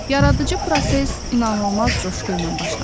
Yaradıcı proses inanılmaz coşqu ilə başlamışdı.